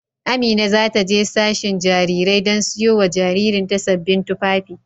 Amina za ta je sashen Jarirai don siyo wa jaririn ta sabbin tufafi.